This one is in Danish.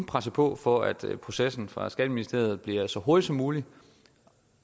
presse på for at processen fra skatteministeriets side bliver så hurtig som muligt